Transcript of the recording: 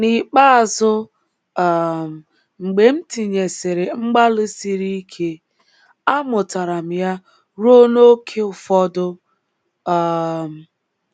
N’ikpeazụ um, mgbe m tinyesịrị mgbalị siri ike, amụtara m ya ruo n’ókè ụfọdụ um.